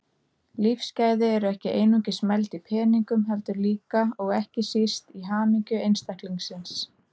Lífsgæði eru ekki einungis mæld í peningum heldur líka, og ekki síst, í hamingju einstaklingsins.